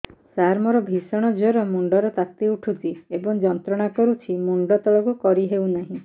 ସାର ମୋର ଭୀଷଣ ଜ୍ଵର ମୁଣ୍ଡ ର ତାତି ଉଠୁଛି ଏବଂ ଯନ୍ତ୍ରଣା କରୁଛି ମୁଣ୍ଡ ତଳକୁ କରି ହେଉନାହିଁ